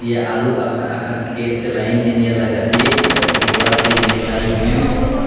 ये आलू अखन अखन खेत से लाइन हे नियर लागत हे एकठो बोरा से निकलाई हेन।